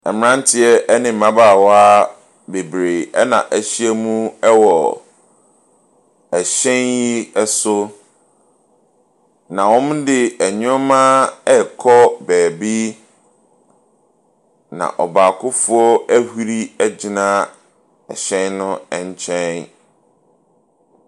Mmeranteɛ ne mmabaawa bebree na ahyia mu wɔ hyɛn yi so, na wɔde nneɛma ɛrekɔ beebi, na ɔbaakofoɔ ahuri agyina hyɛn no nkyɛn.